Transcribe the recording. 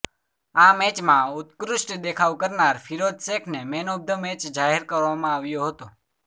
આ મેચમાં ઉત્કૃષ્ટ દેખાવ કરનાર ફીરોઝ શેખને મેન ઓફ ધ મેચ જાહેર કરવામાં આવ્યો હતો